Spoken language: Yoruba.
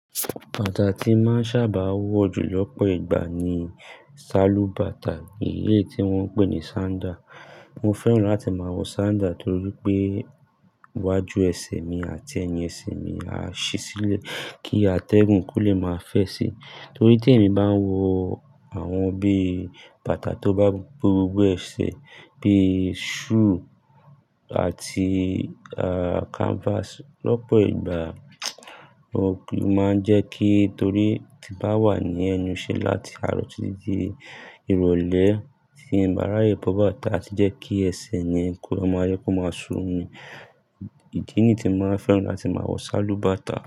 Bàtà tí n máa ń sábà wọ̀ jù lọ́pọ̀ ìgbà ni salú bàtà, èyí tí wọ́n ń pè ní sandal. Mo fẹ́ràn láti máa wọ sandal torí pé iwájú ẹsẹ̀ mi àti ẹyin ẹsẹ̀ mi á ṣí sílẹ̀ kí atẹ́gùn kó le máa fẹ̀ sí i. Torí tí èmi bá ń wọ àwọn bí i bàtà tó bá bo gbogbo ẹsẹ̀ bíi shoe àti, à, canvas lọ́pọ̀ ìgbà, ó máa ń jẹ́ kí torí ti n bá wà ní ẹ̀nu iṣe láti àárọ̀ títí di irọ̀lẹ́ tí ń bá ráyè bọ́ bàtà tí jẹ́ kí ẹsẹ̀ yẹn kó máa jẹ kó máa sunmì. Ìdí nì tí mo maa n fẹ́ràn láti máa wọ salú bàtà.